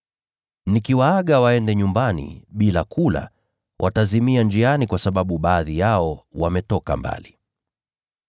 Nikiwaaga waende nyumbani bila kula, watazimia njiani kwa sababu baadhi yao wametoka mbali.”